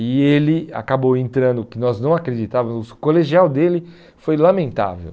E ele acabou entrando, que nós não acreditávamos, o colegial dele foi lamentável.